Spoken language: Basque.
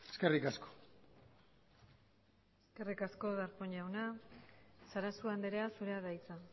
eskerrik asko eskerrik asko darpón jauna sarasua andrea zurea da hitza